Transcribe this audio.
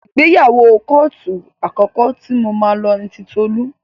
Ìgbéyàwó kóòtù àkọ́kọ́ tí mo máa lọ ni ti Tolú.